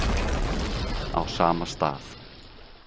Á sama stað.